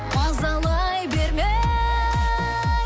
мазалай берме